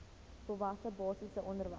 volwasse basiese onderwys